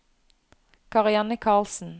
Karianne Carlsen